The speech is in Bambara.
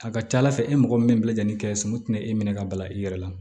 A ka ca ala fɛ e mɔgɔ min bɛ lajɛ ni kɛ sumana tinɛ e minɛ ka balan i yɛrɛ la